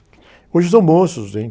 Hoje são moços, hein?